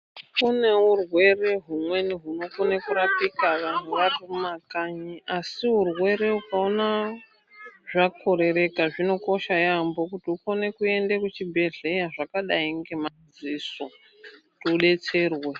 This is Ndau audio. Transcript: Kune urwere humweni hunokone kurapika vanhu ari mumakanyi asi urwere ukaona zvakorereka zvinokosha yaamho kuti ukone kuende kuchibhehleya zvakadai ngemadziso kuti udetserwe.